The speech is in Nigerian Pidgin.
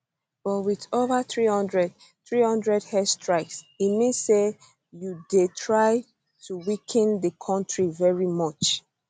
but wit ova 300 300 airstrikes e mean say you dey try to weaken di kontri very much